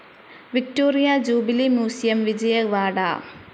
Victoria Jubilee Museum, Vijayawada